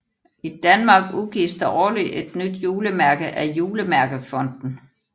I Danmark udgives der årligt et nye julemærke af Julemærkefonden